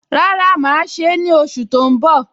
Rárá, mà á ṣe é ní oṣù tó ń bọ̀